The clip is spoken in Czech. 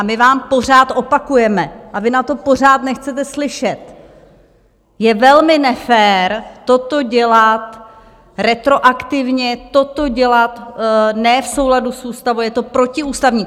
A my vám pořád opakujeme a vy na to pořád nechcete slyšet: Je velmi nefér toto dělat retroaktivně, toto dělat ne v souladu s ústavou, je to protiústavní.